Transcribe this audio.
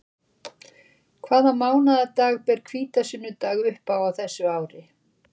Hvaða mánaðardag ber hvítasunnudag upp á þessu ári?